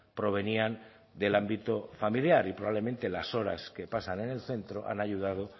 provenían del ámbito familiar y probablemente las horas que pasan en el centro han ayudado